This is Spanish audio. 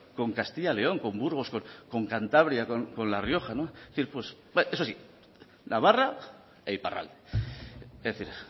con castilla y león con burgos con cantabria con la rioja eso sí navarra e iparralde es decir